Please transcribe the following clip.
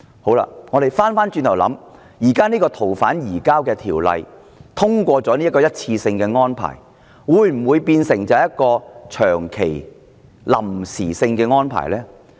反過來想，如果採納現時《逃犯條例》的一次性安排，移交逃犯會否變成長期臨時性的安排呢？